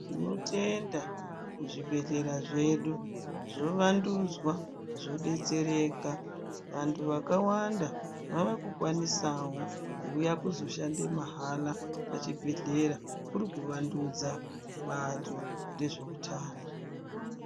Tinotenda zvi bhedhlera zvedu zvo wandudza zvo detsereka vantu vakawanda vava ku kwanisawo kuuya kuzo shande mahala pa chibhedhlera kuri ku wandudza bato rezve utano.